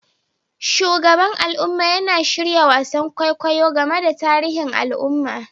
Shugaban al'umma yana shirya wasan kwaikwayo game da tarihin al'umma